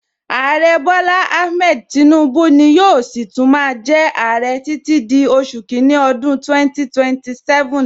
Aare Bola Ahmed Tinubu ni yóò si tún máa jẹ aare títí di oṣù kini ọdún 2027